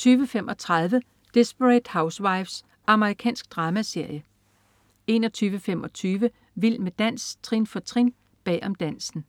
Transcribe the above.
20.35 Desperate Housewives. Amerikansk dramaserie 21.25 Vild med dans, trin for trin. Bag om dansen